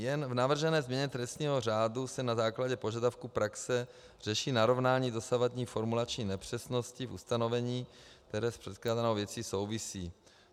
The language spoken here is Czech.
Jen v navržené změně trestního řádu se na základě požadavků praxe řeší narovnání dosavadní formulační nepřesnosti v ustanovení, které s předkládanou věcí souvisí.